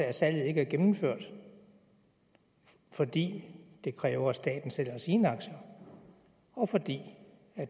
at salget ikke er gennemført fordi det kræver at staten sælger sine aktier og fordi